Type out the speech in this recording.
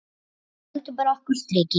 Við höldum bara okkar striki.